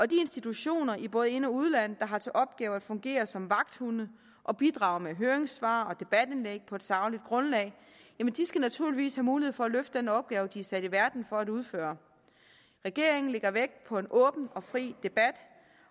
de institutioner i både ind og udland der har til opgave at fungere som vagthunde og bidrage med høringssvar og debatindlæg på et sagligt grundlag skal naturligvis have mulighed for at løfte den opgave de er sat i verden for at udføre regeringen lægger vægt på en åben og fri debat